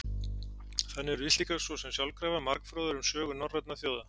Þannig urðu Íslendingar svo sem sjálfkrafa margfróðir um sögu norrænna þjóða.